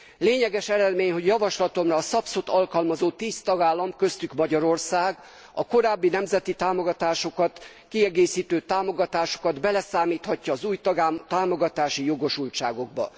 Lényeges eredmény, hogy javaslatomra a SAPS ot alkalmazó tíz tagállam köztük Magyarország a korábbi nemzeti támogatásokat, kiegészítő támogatásokat beleszámíthatja az új támogatási jogosultságokba.